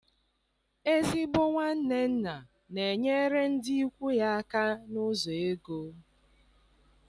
Ezigbo nwanne nna na-enyere ndị ikwu ya aka n'ụzọ ego.